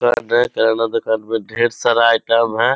किराना दुकान में ढेर सारा आईटम है।